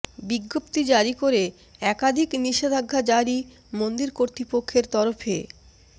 বিজ্ঞপ্তি জারি করে একাধিক নিষেধাজ্ঞা জারি মন্দির কর্তৃপক্ষের তরফে